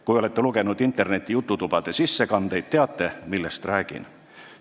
Kui olete lugenud interneti jututubade sissekandeid, siis teate, millest räägin.